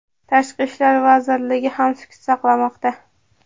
Tashqi ishlar vazirligi ham sukut saqlamoqda.